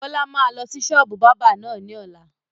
Bọlá máa lọ sí sọ́ọ́bù báábà náà ni ọ̀la